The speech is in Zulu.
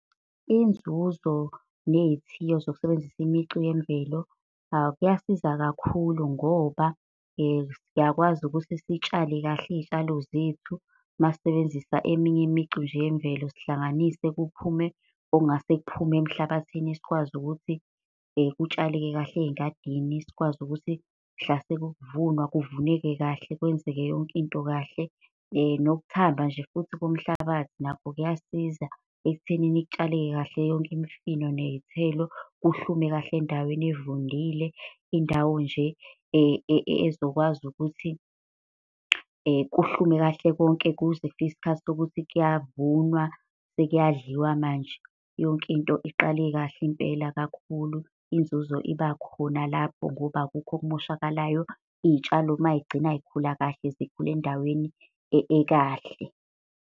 Inzuzo, ney'thiyo zokusebenzisa imicu yemvelo kuyasiza kakhulu ngoba siyakwazi ukuthi sitshale kahle iy'tshalo zethu masisebenzisa eminye imicu nje yemvelo. Sihlanganise kuphume okungase kuphume emhlabathini sikwazi ukuthi kutshaleke kahle ey'ngadini. Sikwazi ukuthi mhla sekuvunwa, kuvuneke kahle kwenzeke yonke into kahle. Nokuthamba nje futhi komhlabathi nakho kuyasiza ekuthenini kutshaleke kahle yonke imfino ney'thelo kuhlume kahle endaweni evundile, indawo nje ezokwazi ukuthi kuhlume kahle konke kuze kufike isikhathi sokuthi kuyavunwa sekuyadliwa manje. Yonke into iqale kahle impela kakhulu, inzuzo ibakhona lapho, ngoba akukho okumoshakalayo. Iy'tshalo may'gcina yikhula kahle, zikhula endaweni ekahle.